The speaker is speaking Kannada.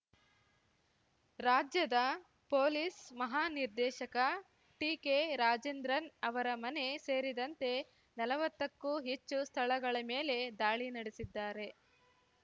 ರಾಜ್ಯದ ಪೊಲೀಸ್‌ ಮಹಾ ನಿರ್ದೇಶಕ ಟಿಕೆರಾಜೇಂದ್ರನ್‌ ಅವರ ಮನೆ ಸೇರಿದಂತೆ ನಲ್ವತ್ತಕ್ಕೂ ಹೆಚ್ಚು ಸ್ಥಳಗಳ ಮೇಲೆ ದಾಳಿ ನಡೆಸಿದ್ದಾರೆ